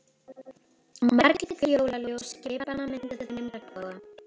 Marglit jólaljós skipanna mynda þeim regnboga.